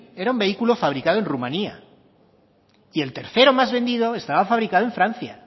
era un vehículo fabricado en rumania y el tercero más vendido estaba fabricado en francia